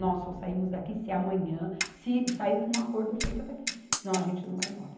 Nós só saímos daqui se amanhã, se sair com um acordo feito daqui, senão a gente não vai embora.